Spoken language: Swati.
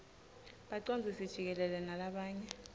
bacondzisi jikelele nalabanye